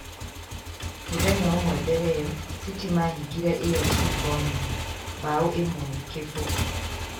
Mũthenya ũmwe mbere ĩyo, City mahingire AFC Bournemouth mbao ĩmwe ,gĩbũgũ.